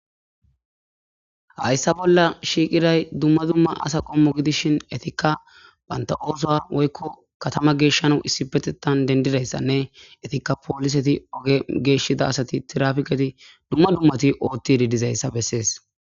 hayssa bolla shiiqiray dumma dumma asa qommo gidishin etikka baynta ooso woykko katama geeshshanu issi petetan dendidayssanne etikka pooliseti oge geeshshida asati tirafiqeti dumma dummati ootti didizayssa bessees